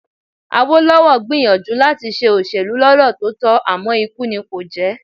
Awólọ́wọ̀ gbìyànjú láti ṣe òṣèlú lọ́nà tó tọ́ àmọ́ ikú nì kò jẹ́